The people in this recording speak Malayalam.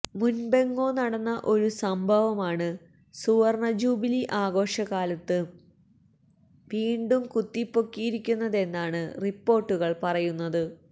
മുൻപെങ്ങോ നടന്ന ഒരു സംഭവമാണ് സുവർണജൂബിലി ആഘോഷകാലത്ത് വീണ്ടും കുത്തിപ്പൊക്കിയിരിക്കുന്നതെന്നാണ് റിപ്പോർട്ടുകൾ പറയുന്നത്